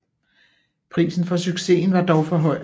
Prisen for succesen var dog høj